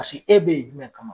Paseke e be ye jumɛn kama?